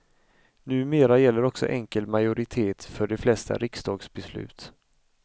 Numera gäller också enkel majoritet för de flesta riksdagsbeslut.